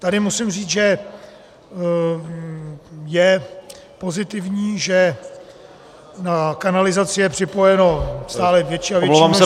Tady musím říct, že je pozitivní, že na kanalizaci je připojeno stále větší a větší množství obyvatel -